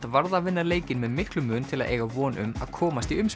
varð að vinna leikinn með miklum mun til að eiga von um að komast í